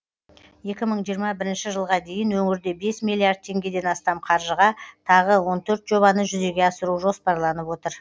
екі мың жиырма бірінші жылға дейін өңірде бес миллиард теңгеден астам қаржыға тағы он төрт жобаны жүзеге асыру жоспарланып отыр